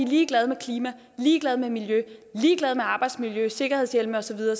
ligeglad med klimaet ligeglad med miljøet ligeglad med arbejdsmiljøet sikkerhedshjemle og så videre